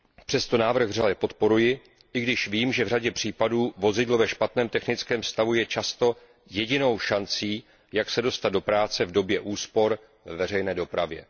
Přesto návrh vřele podporuji, i když vím, že v řadě případů vozidlo ve špatném technickém stavu je často jedinou šancí, jak se dostat do práce v době úspor ve veřejné dopravě.